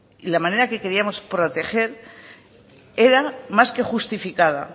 y la manera que queríamos proteger era más que justificada